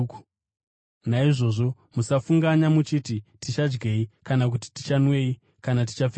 Naizvozvo musafunganya muchiti, ‘Tichadyei?’ kana kuti, ‘Tichanwei?’ kana ‘Tichapfekei?’